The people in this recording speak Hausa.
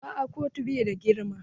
Aa kotun bai da girma.